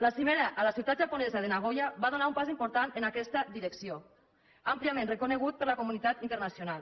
la cimera a la ciutat japonesa de nagoya va donar un pas important en aquesta direcció àmpliament reconegut per la comunitat internacional